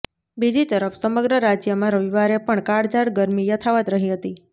બીજી તરફ સમગ્ર રાજ્યમાં રવિવારે પણ કાળઝાળ ગરમી યથાવત્ રહી હતી